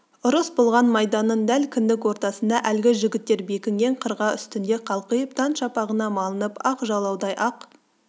ұрыс болған майданның дәл кіндік ортасында әлгі жігіттер бекінген қырқа үстінде қалқиып таң шапағына малынып ақ жалаудай ақ